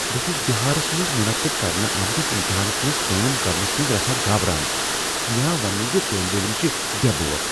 بہٕ چھس بہارس منٛز منعقد کرنہٕ آمتس امتحانس منز کٲم کرنس منٛز رژھاہ گابران۔ مےٚ آو ونٛنہٕ ز طٲلب علم چھِ بے بوَر۔